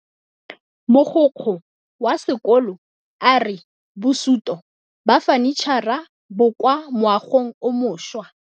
Mogokgo wa sekolo a re bosutô ba fanitšhara bo kwa moagong o mošwa.